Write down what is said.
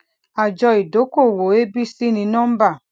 àjọ ìdókòwò abc ní nọmbà